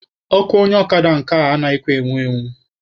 Ọkụ onye ọkada nke a anaghịkwa enwu enwu.